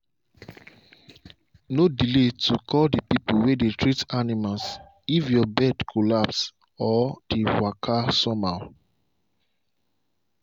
no delay to call the people way dey treat animals if your birds collapse or dey walka some how.